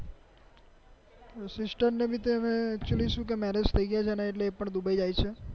sister ને તો ભી હૈને actually શું કે marriage થઇ ગયા છે ને એટલે એ પણ દુબઈ આયી છે